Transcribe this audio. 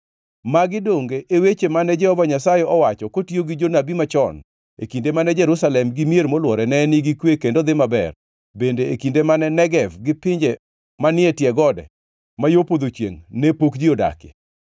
Magi donge e weche mane Jehova Nyasaye owacho kotiyo gi jonabi machon, e kinde mane Jerusalem gi mier molwore ne nigi kwe kendo dhi maber, bende e kinde ma Negev gi pinje manie tie gode ma yo podho chiengʼ ne pok ji odakie?’ ”